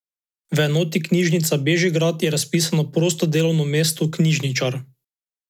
V enoti Knjižnica Bežigrad je razpisano prosto delovno mesto knjižničar .